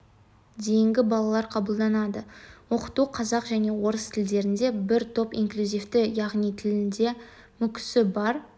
дейінгі балалар қабылданады оқыту қазақ және орыс тілдерінде бір топ инклюзивті яғни тілінде мүкісі бар